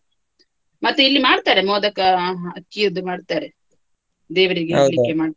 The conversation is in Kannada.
ಮತ್ತೆ ಇಲ್ಲಿ ಮಾಡ್ತಾರೆ ಮೋದಕ ಅಕ್ಕಿಯದ್ದು ಮಾಡ್ತಾರೆ, .